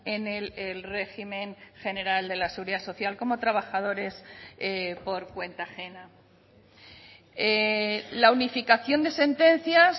en el régimen general de la seguridad social como trabajadores por cuenta ajena la unificación de sentencias